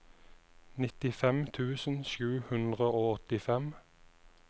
nittifem tusen sju hundre og åttifem